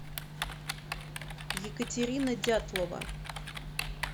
екатерина дятлова